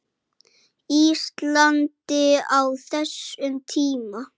Íslandi á þessum tíma.